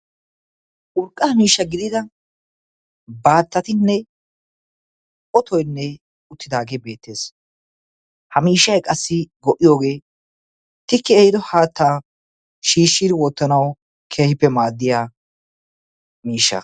urqqaa miishsha gidida baattatinne otoynne uttidaagee beettees. ha miishay qassi go77iyoogee tikki ehido haattaa shiishshiidi wottanawu keehippe maaddiya miishsha.